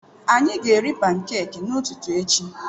Anyị ga-eri pankeki n'ụtụtụ echi.